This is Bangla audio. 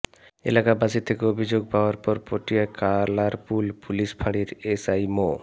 এলাকাবাসীর থেকে অভিযোগ পাওয়ার পর পটিয়া কালারপুল পুলিশ ফাঁড়ির এসআই মো